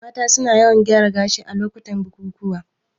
Mata su na yawan gyaran gashi a lokutan bukukuwa